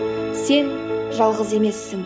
сен жалғыз емессің